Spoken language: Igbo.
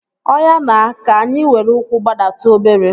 Oya na, ka anyị were ụkwụ gbadatu obere